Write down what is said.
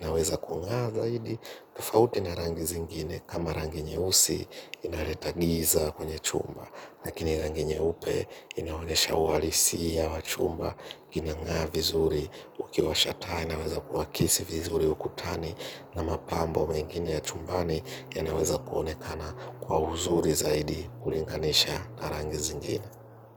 inaweza kung'aa zaidi. Tufauti na rangi zingine kama rangi nyeusi inaleta giza kwenye chumba, lakini rangi nyeupe inaonyesha uhalisia wa chumba. Kinang'aa vizuri ukiwasha taa inaweza kuhakisi vizuri ukutani na mapambo mengine ya chumbani yanaweza kuonekana kwa uzuri zaidi kulinganisha na rangi zingine.